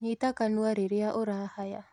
Nyita kanua rirĩa urahaya